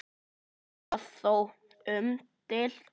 Er það þó umdeilt